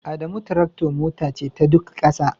Adamu tractor Mota ce ta Duk ƙasa